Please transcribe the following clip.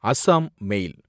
அசாம் மேல்